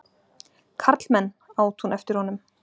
Karlmenn! át hún eftir honum.